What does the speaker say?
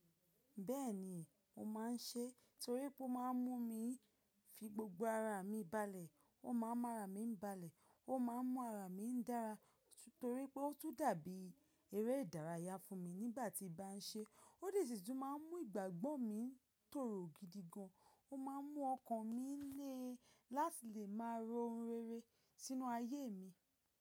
Bẹ́ẹ̀ni mo máa ń ṣe, torí pé ó máa ń mú mi fi gbogbo ara mi balẹ̀, ó máa ń mu ara mi ń balẹ̀, ó máa ń mu ara mi ń dára torí pé ó tún dàbí eré ìdárayá fún mi nígbà tí mo bá ń ṣe é. Ó de sì tún máa ń mú ìgbàgbọ́ mi tòrò gidigan, ó máa ń mú ọkàn mi lé láti lè máa ro oun rere sínú ayé mi.